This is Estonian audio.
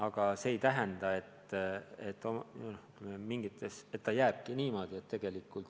Aga see ei tähenda, et see jääbki niimoodi.